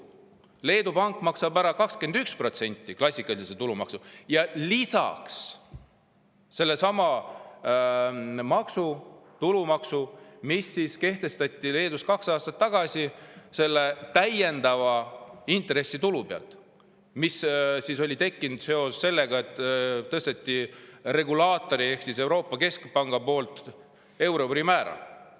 Leedus maksab pank 21% klassikalist tulumaksu ja lisaks sedasama tulumaksu, mis kehtestati Leedus kaks aastat tagasi selle täiendava intressitulu pealt, mis oli tekkinud seoses sellega, et regulaator ehk Euroopa Keskpank oli tõstnud euribori määra.